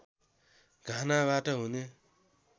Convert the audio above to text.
घानाबाट हुने